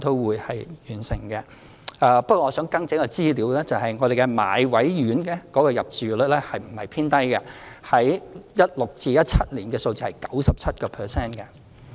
不過，我想更正一項資料，便是買位院舍的入住率不是偏低 ，2016-2017 年度的數字是 97%。